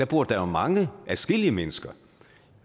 bor der jo mange ja adskillige mennesker